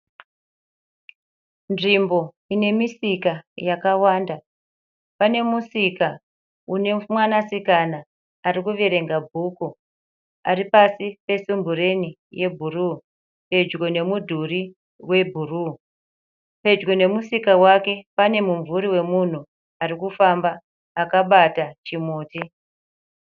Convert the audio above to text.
Nzvimbo ine misika yakawanda. Pane musika une mwanasikana ari kuverenga bhuku ari pasi pesumbureni yebhuruu pedyo nemudhuri webhuruu. Pedyo nemusika wake pane mumvuri wemunhu ari kufamba akabata chimuti.